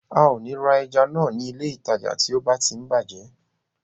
A ò ní ra ẹja náà ní ilé ìtajà náà tí ó bá tí ń bàjẹ́